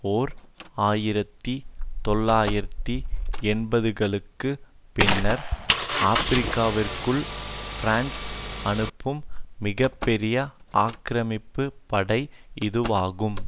ஓர் ஆயிரத்தி தொள்ளாயிரத்து எண்பதுகளுக்கு பின்னர் ஆபிரிக்காவிற்குள் பிரான்ஸ் அனுப்பும் மிக பெரிய ஆக்கிரமிப்பு படை இதுவாகும்